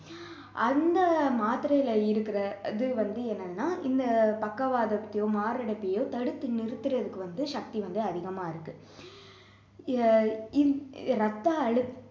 அந்த மாத்திரையில இருக்கிற இது வந்து என்னென்னா இந்த பக்கவாதத்தையோ மாரடைப்பையோ தடுத்து நிறுத்தறதுக்கு வந்து சக்தி வந்து அதிகமா இருக்கு ரத்த அழுத்தம்